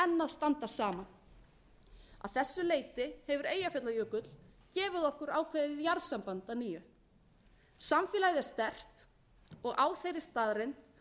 standa saman að þessu leyti hefur eyjafjallajökull gefið okkur ákveðið jarðsamband að nýju samfélagið er sterkt og á þeirri staðreynd munum